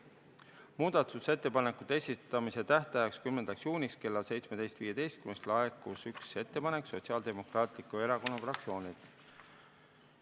Muudatusettepanekute esitamise tähtajaks, 10. juuniks kella 17.15-ks laekus üks ettepanek Sotsiaaldemokraatliku Erakonna fraktsioonilt.